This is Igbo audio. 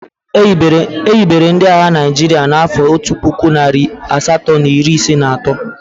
E hibere ndị agha Naịjirịa n'afọ otu puku, narị asatọ na iri isii na atọ.